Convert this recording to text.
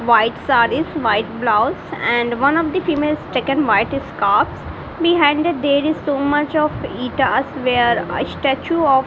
white sarees white blouse and one of the female has taken white scarves behind that there is so much of where a statue of --